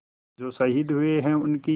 जो शहीद हुए हैं उनकी